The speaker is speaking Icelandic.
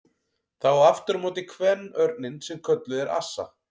Það á aftur á móti kvenörninn sem kölluð er assa.